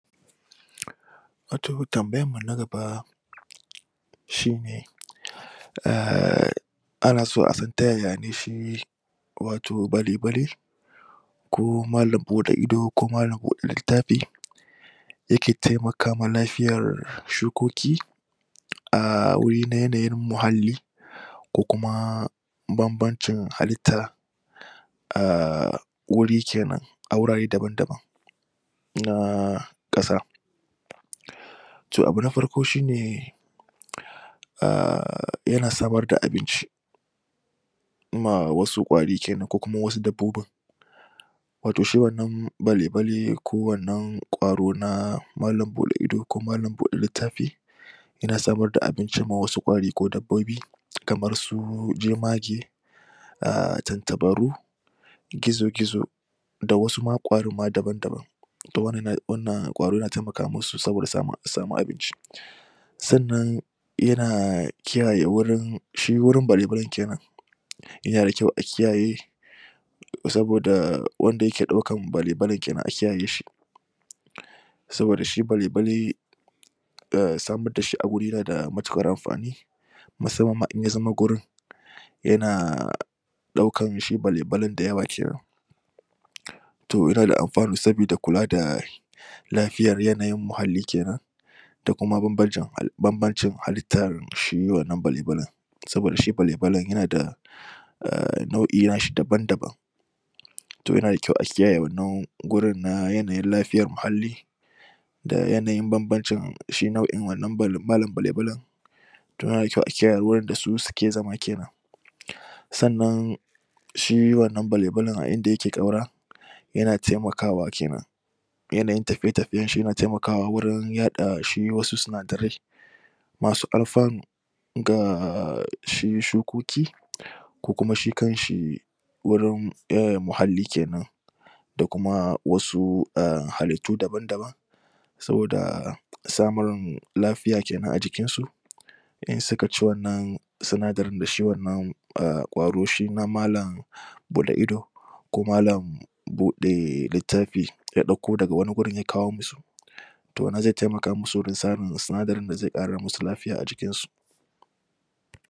tambayan mu na gaba shi ne ana so a san tayaya ne shi wato bale-bale ko malam buɗe ido ko malam buɗe littafi yake temaka ma lafiyar shukoki a wuri na yanayin muhalli ko kuma bambancin halitta wuri kenan a wurare daban-daban na ƙasa to abu na farko shine yana samar da abinci ma wasu ƙwari kenan ko kuma wasu dabbobin wato shi wannan bale-bale ko wannan ƙwaro na malam buɗe ido ko malam buɗe littafi yana samar da abinci ma wasu ƙwari ko dabbobi kamar su jemage umm tantabaru gizo-gizo da wasu ma ƙwarin daban-daban to wannan ƙwaro yana temaka mu su saboda samun a samu abinci sannan yana kiyaye shi wurin bale-balen kenan yana da kyau a kiyaye saboda wanda yake ɗaukan bale-balen kenan a kiyaye shi saboda shi bale-bale samar da shi a wuri yana da matuƙar amfani musamman ma in ya zama gurin yana ɗaukan shi bale-balen da yawa kenan to yana da alfanu sabida kula da lafiyar yanayin muhalli kenan da kuma bambancin halittar shi wannan bale-balen saboda shi bale-balen yana da umm nau'i na shi daban-daban to yana da kyau a kiyaye wannan gurin na yanayin lafiyar muhalli da yanayin bambancin shi nau'in wannan malam bale-balen to yana da kyau a kiyaye wurin da su suke zama kenan sannan shi wannan bale-balen a inda yake ƙaura yana temakawa kenan yanayin tafiye-tafiyen shi yana temakawa wurin yaɗa shi wasu sinadarai masu alfanu ga shi shukoki ko kuma shi kan shi wurin umm muhalli kenan da kuma wasu umm halittu daban-daban saboda samun lafiya kenan a jikin su in suka ci wannan sinadarin da shi wannan umm ƙwaro shi na malam buɗe ido ko malam buɗe littafi ya ɗauko daga wani gurin ya kawo mu su to wannan ze temaka musu wurin samun sinadain da ze ƙara musu lafiya a jikin su